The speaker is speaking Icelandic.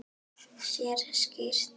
Sér skýrt.